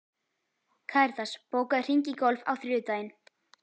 Karitas, bókaðu hring í golf á þriðjudaginn.